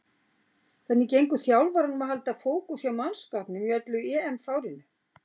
Hvernig gengur þjálfaranum að halda fókus hjá mannskapnum í öllu EM-fárinu?